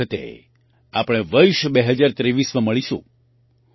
આગામી વખતે આપણે વર્ષ 2023માં મળીશું